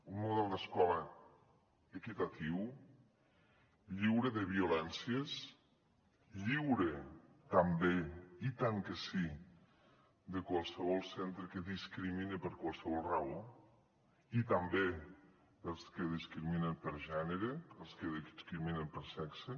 un model d’escola equitatiu lliure de violències lliure també i tant que sí de qualsevol centre que discrimini per qualsevol raó i també els que discriminen per gènere els que discriminen per sexe